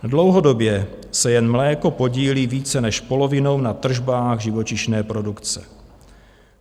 Dlouhodobě se jen mléko podílí více než polovinou na tržbách živočišné produkce.